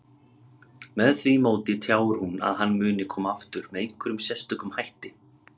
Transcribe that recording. Með því móti tjáir hún að hann muni koma aftur með einhverjum sérstökum hætti.